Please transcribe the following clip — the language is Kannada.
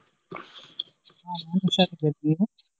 ಹ ನಾನು ಹುಷಾರಿದ್ದೇನೆ ನೀವು.